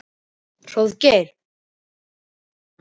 Hróðgeir, hvenær kemur tían?